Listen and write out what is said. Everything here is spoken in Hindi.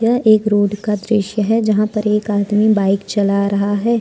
यह एक रोड का दृश्य है जहां पर एक आदमी बाइक चला रहा है।